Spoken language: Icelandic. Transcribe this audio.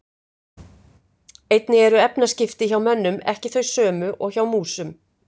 Einnig eru efnaskipti hjá mönnum ekki þau sömu og hjá músum.